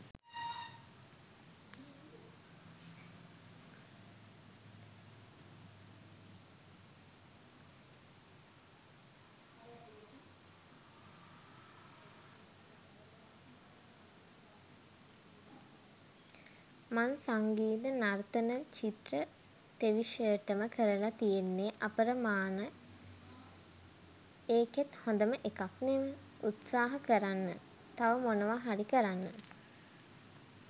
මං සංගිත නර්තන චිත්‍ර තෙවිශයටම කරලා තියෙන්නෙ අපරමාන එකෙත් හොදම එකක් නෙව! උත්සහා කරන්න.තව මොනවා හරි කරන්න.